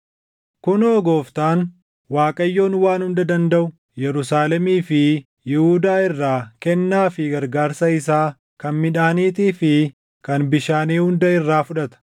Kunoo Gooftaan, Waaqayyoon Waan Hunda Dandaʼu Yerusaalemii fi Yihuudaa irraa kennaa fi gargaarsa isaa kan midhaaniitii fi kan bishaanii hunda irraa fudhata;